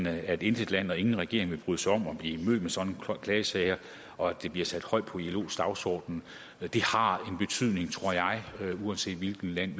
at intet land og ingen regering vil bryde sig om at blive mødt med sådan en klagesag her og at det bliver sat højt på ilos dagsorden det har en betydning tror jeg uanset hvilket land